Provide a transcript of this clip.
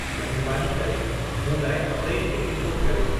महिरबानी करे मूं लाइ ट्रेन टिकेट बुकु कर्यो